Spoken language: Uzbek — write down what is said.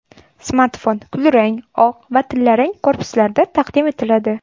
Smartfon kulrang, oq va tillarang korpuslarda taqdim etiladi.